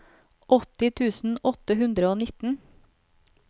åtti tusen åtte hundre og nitten